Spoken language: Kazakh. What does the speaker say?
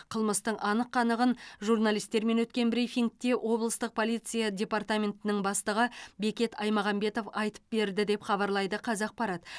қылмыстың анық қанығын журналистермен өткен брифингте облыстық полиция департаментінің бастығы бекет аймағамбетов айтып берді деп хабарлайды қазақпарат